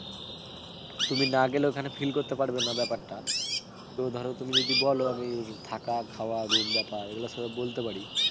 তুমি না গেলে ওখানে feel করতে পারবে না ব্যাপারটা, তো ধরো তুমি যদি বোলো আমি থাকা, খাওয়া, room ব্যাপার এগুলো সব বলতে পারি.